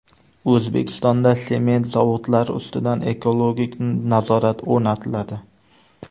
O‘zbekistonda sement zavodlari ustidan ekologik nazorat o‘rnatiladi.